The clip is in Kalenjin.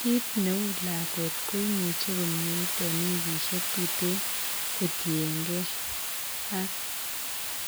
Kiit neuu lakwet ko imuch komyeit en wikisiet tuten ko tien gee ak